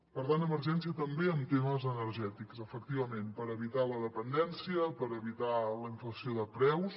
per tant emergència també en temes energètics efectivament per evitar la dependència per evitar la inflació de preus